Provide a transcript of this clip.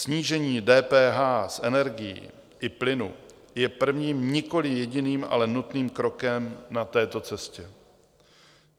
Snížení DPH z energií i plynu je prvním, nikoliv jediným, ale nutným krokem na této cestě.